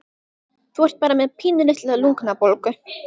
Þú ert bara með pínulitla lungnabólgu